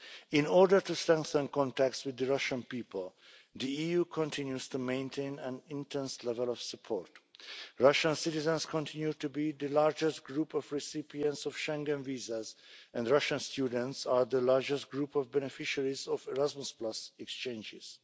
In order to strengthen contacts with the Russian people, the EU continues to maintain an intense level of support. Russian citizens continue to be the largest group of recipients of Schengen visas and Russian students are the largest group of beneficiaries of Erasmus exchanges.